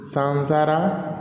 San sara